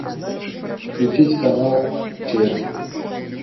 включить канал че